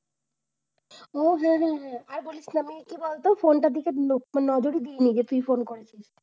ও হ্যাঁ হ্যাঁ হ্যাঁ হ্যাঁ আর বলিস না ভাই। কি বলতো phone টার দিকে নজরই দেইনি যে তুই phone করেছিস।